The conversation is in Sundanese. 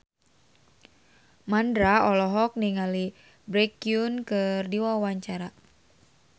Mandra olohok ningali Baekhyun keur diwawancara